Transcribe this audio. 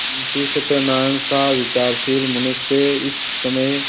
मुंशी सत्यनारायणसा विचारशील मनुष्य इस समय